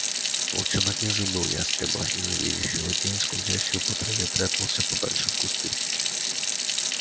волчонок не забыл ястреба и завидев его тень скользящую по траве прятался подальше в кусты